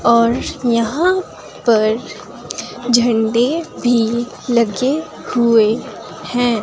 और यहां पर झंडे भी लगे हुए हैं।